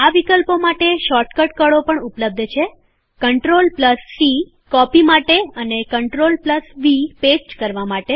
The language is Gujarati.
આ વિકલ્પો માટે શૉર્ટકટ કળો પણ ઉપલબ્ધ છે Ctrl સી કોપી માટે અને Ctrl વી પેસ્ટ કરવા માટે છે